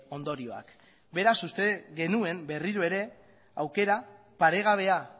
ondorioak beraz uste genuen berriro ere aukera paregabea